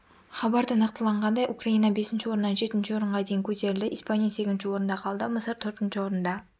хабарда нақтыланғандай украина бесінші орыннан жетінші орынға дейін көтерілді испания сегізінші орында қалды мысыр төртінші орында